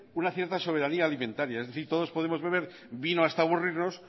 una cierta soberanía alimentaria es decir todos podemos beber vino hasta aburrirnos